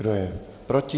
Kdo je proti?